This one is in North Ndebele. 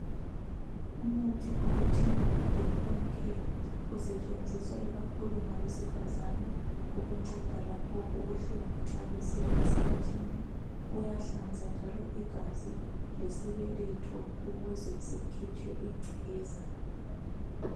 Umuthi okuthiwa yidopon care osetshenziswa kakhulu ngabesifazana kunceda lapho okubuhlunga nxa besiya esikhathini uyahlanza njalo igazi lesibeletho ukuze sikhitshwe ingcekeza.